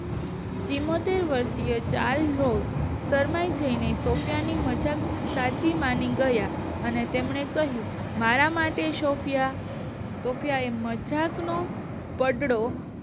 તેમાંથી વર્ષીય child host શરમાઈ જઈને સૉફયા ની મજાક સાચી માની ગયા. તેમણે કહ્યું કે મારા માટે સૉફયા સૉફયા એ મઝાક ગઢડો